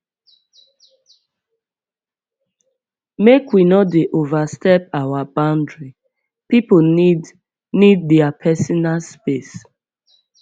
make we no dey overstep our boundary pipo need need their personal space